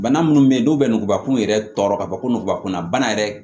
Bana munnu be yen n'u bɛ nugubakun yɛrɛ tɔ ka fɔ ko nugubakun na bana yɛrɛ